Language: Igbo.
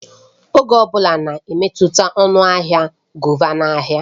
Oge ọ bụla na-emetụta ọnụ ahịa govà na ahịa